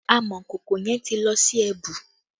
Amọ̀kòkò yẹn ti lọ sí ẹbu